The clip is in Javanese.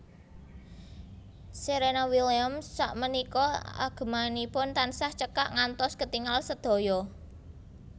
Serena Williams sakmenika agemanipun tansah cekak ngantos ketingal sedaya